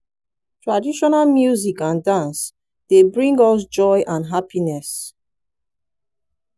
traditional music and dance dey bring us joy and happiness.